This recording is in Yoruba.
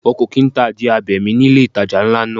Wọn kò kín ta adìẹ abẹ̀mí ni ilé ìtajà ńlá náà.